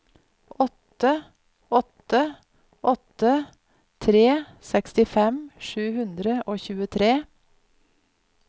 åtte åtte åtte tre sekstifem sju hundre og tjuetre